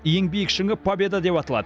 ең биік шыңы победа деп аталады